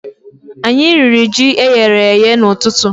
Anyi riri ji eyere èyé n'ututu